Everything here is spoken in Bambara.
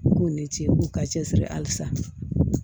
U k'u ni ce u k'u ka cɛsiri halisa